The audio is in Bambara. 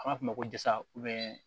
An b'a f'o ma ko jasa